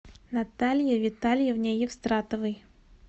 наталье витальевне евстратовой